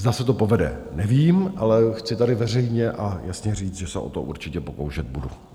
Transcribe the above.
Zda se to povede, nevím, ale chci tady veřejně a jasně říct, že se o to určitě pokoušet budu.